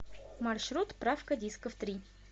маршрут правка дисков три